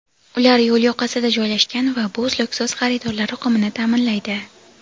ular yo‘l yoqasida joylashgan va bu uzluksiz xaridorlar oqimini ta’minlaydi.